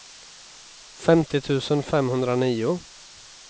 femtio tusen femhundranio